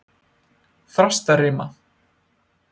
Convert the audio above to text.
Þrastarima